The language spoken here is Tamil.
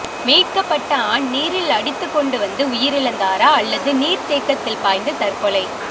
மீட்கப்பட்ட ஆண் நீரில் அடித்துக் கொண்டு வந்து உயிரிழந்தாரா அல்லது நீர்தேக்கத்தில் பாய்ந்து தற்கொலை